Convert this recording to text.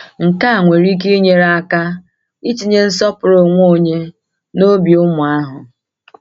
Nke a nwere ike inyere aka itinye nsọpụrụ onwe onye n’obi ụmụ ahụ.